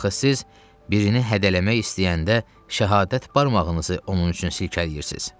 Axı siz birini hədələmək istəyəndə şəhadət barmağınızı onun üçün silkələyirsiz.